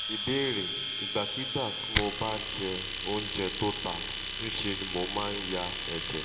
ìbéèrè: ìgbàkigbà tí mo bá jẹ oúnjẹ tó ta ńṣe ni mo maa n ya eje